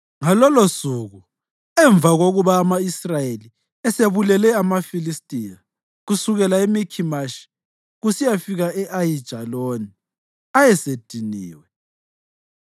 Ngalolosuku, emva kokuba ama-Israyeli esebulele amaFilistiya kusukela eMikhimashi kusiyafika e-Ayijaloni, ayesediniwe.